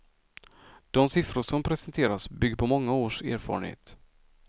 De siffror som presenteras bygger på många års erfarenhet.